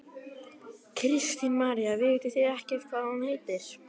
Kristín María: Vitið þið ekkert hvað hún heitir?